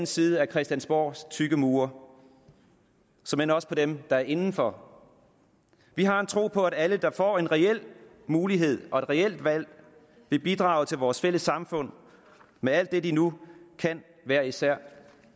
side af christiansborgs tykke mure såmænd også på dem der er inden for vi har en tro på at alle der får en reel mulighed og et reelt valg vil bidrage til vores fælles samfund med alt det de nu kan hver især